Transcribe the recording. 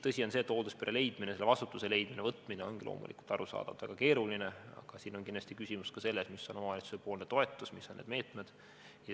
Tõsi on see, et hoolduspere leidmine, selle vastutuse võtmine ongi arusaadavalt väga keeruline, aga siin on kindlasti küsimus ka selles, mis on omavalitsuse toetus, mis on need meetmed.